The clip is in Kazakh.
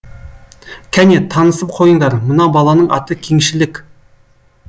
кәне танысып қойындар мына баланың аты кеңшілік